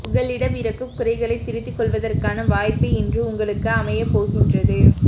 உங்களிடம் இருக்கும் குறைகளை திருத்திக் கொள்வதற்கான வாய்ப்பு இன்று உங்களுக்கு அமையப்போகின்றது